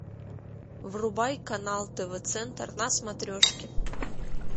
врубай канал тв центр на смотрешке